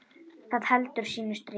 Það heldur sínu striki.